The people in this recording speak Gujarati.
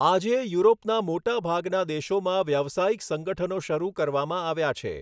આજે, યુરોપના મોટાભાગના દેશોમાં વ્યાવસાયિક સંગઠનો શરૂ કરવામાં આવ્યા છે.